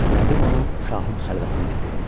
Nədim onu şahın xəlvətinə gətirdi.